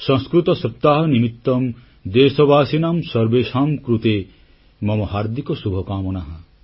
ସଂସ୍କୃତ ସପ୍ତାହ ନିମିତଂ ଦେଶବାସିନାଂ ସର୍ବେଷାଂ କୃତେ ମମ ହାର୍ଦ୍ଦିକ ଶୁଭକାମନାଃ